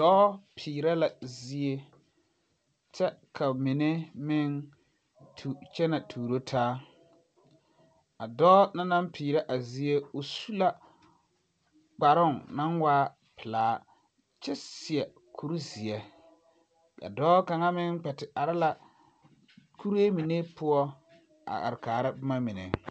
Dɔɔ peerɛ la zie kyɛ ka mine meŋ tu kyɛnɛ tuuro taa a dɔɔ na naŋ peerɛ zie su la kparoŋ naŋ waa pelaa kyɛ seɛ kuri zeɛ ka dɔɔ kaŋa meŋ kpɛ te are la kuree mine poɔ a are kaara boma mine.